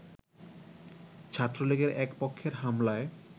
ছাত্রলীগের এক পক্ষের হামলায়